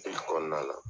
kɔnɔna la